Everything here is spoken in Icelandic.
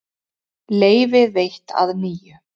Leyfi veitt að nýju